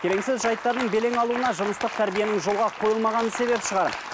келеңсіз жайттардың белең алуына жыныстық тәрбиенің жолға қойылмағаны себеп шығар